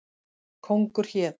Kóngur hét.